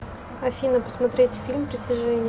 афина посмотреть фильм притяжение